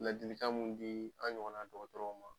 Ladilikan mun di an ɲɔgɔnna dɔgɔtɔrɔw ma.